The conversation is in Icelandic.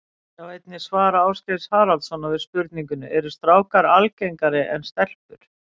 Sjá einnig svar Ásgeirs Haraldssonar við spurningunni Eru strákar algengari en stelpur?